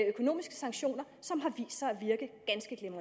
økonomisk sanktion